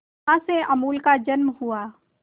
जहां से अमूल का जन्म हुआ